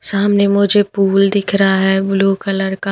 सामने मुझे पूल दिख रहा है ब्लू कलर का --